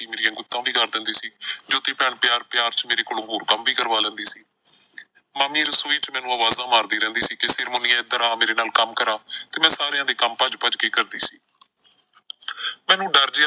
ਉੱਤੋਂ ਦੀ ਡਰ ਜਾਂਦੀ ਸੀ। ਜੋਤੀ ਭੈਣ ਪਿਆਰ ਪਿਆਰ ਚ ਮੇਰੇ ਕੋਲੋਂ ਹੋਰ ਵੀ ਕੰਮ ਕਰਵਾ ਲੈਂਦੀ ਸੀ ਮਾਮੀ ਰਸੋਈ ਚ ਮੈਨੂੰ ਆਵਾਜ਼ਾਂ ਮਾਰਦੀ ਰਹਿੰਦੀ ਸੀ ਕਿ ਫਿਰ ਮੁੰਨੀਏ ਇਧਰ ਆ ਮੇਰੇ ਨਾਲ ਕੰਮ ਕਰਾ ਤੇ ਮੈਂ ਸਾਰਿਆਂ ਦੇ ਕੰਮ ਭੱਜ ਭੱਜ ਕੇ ਕਰਦੀ ਸੀ ਮੈਨੂੰ ਡਰ ਜਿਹਾ,